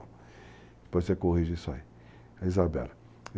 Depois você corrige isso aí. É Isabella.